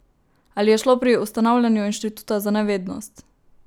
Ali je šlo pri ustanavljanju inštituta za nevednost?